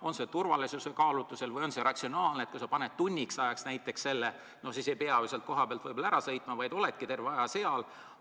On see turvalisuskaalutlusel või on see ratsionaalne, et kui sa paned näiteks tunniks ajaks selle kaamera, siis sa ei pea sealt kohapealt võib-olla ära sõitma, vaid oledki terve aja seal?